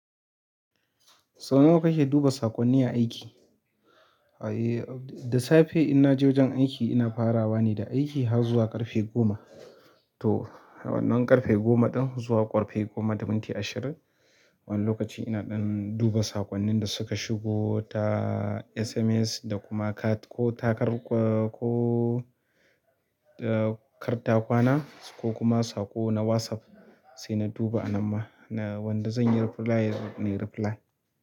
Sau nawa kake duba saƙonni a aiki? Eh, da safe in naje wajen aiki ina farawa ne da aiki har zuwa ƙarfe goma. To wannan ƙarfe goma ɗin zuwa ƙarfe goma da minti ashirin, wani lokaci ina dan duba saƙonnin da suka shigo ta SMS da kuma ko takar ko, ko kartakwana ko kuma saƙo na WhatsApp sai na duba a nan ma. Wanda zan yi reply nayi reply.